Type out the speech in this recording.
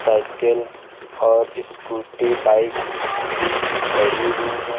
Cycle और scooty bike भी खड़ी हुई हैं।